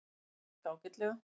Þetta gekk ágætlega